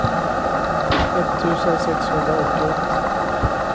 etttusen sexhundraåttioett